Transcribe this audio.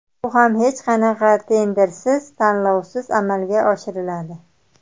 Bu ham hech qanaqa tendersiz, tanlovsiz amalga oshiriladi.